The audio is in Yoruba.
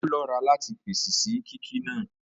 Ó lọ́ra láti fèsì sí kíkí náà